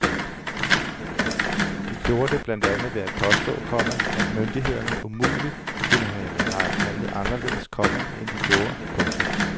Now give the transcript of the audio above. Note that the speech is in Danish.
De gjorde det blandt andet ved at påstå, komma at myndighederne umuligt kunne have handlet anderledes, komma end de gjorde. punktum